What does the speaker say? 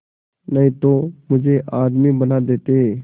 नहीं तो मुझे आदमी बना देते